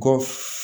Kɔ